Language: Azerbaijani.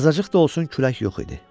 Azacıq da olsun külək yox idi.